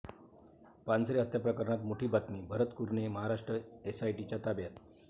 पानसरे हत्या प्रकरणात मोठी बातमी, भरत कुरणे महाराष्ट्र एसआयटीच्या ताब्यात